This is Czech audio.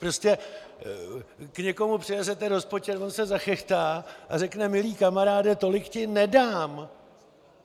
Prostě k někomu přinesete rozpočet, on se zachechtá a řekne: Milý kamaráde, tolik ti nedám!